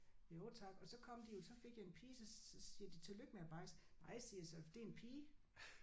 Jo tak og så kom de jo så fik jeg en pige så så siger de tillykke med bajsen. Nej siger jeg så for det er en pige